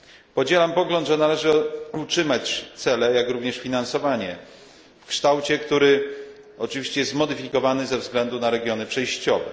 Podzielam pogląd, że należy utrzymać cele, jak również finansowanie w kształcie, który oczywiście zostanie zmodyfikowany ze względu na regiony przejściowe.